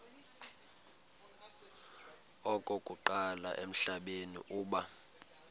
okokuqala emhlabeni uba